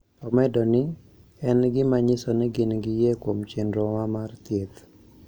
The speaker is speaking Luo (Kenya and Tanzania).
Omedo ni: "En gima nyiso ni gin gi yie kuom chenrowa mar thieth".